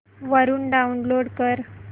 वरून डाऊनलोड कर